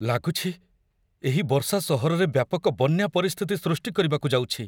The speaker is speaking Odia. ଲାଗୁଛି, ଏହି ବର୍ଷା ସହରରେ ବ୍ୟାପକ ବନ୍ୟା ପରିସ୍ଥିତି ସୃଷ୍ଟି କରିବାକୁ ଯାଉଛି।